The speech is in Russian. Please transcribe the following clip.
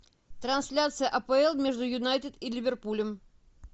трансляция апл между юнайтед и ливерпулем